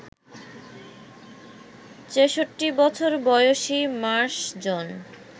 ছেষট্টি বছর বয়সী মার্শ জন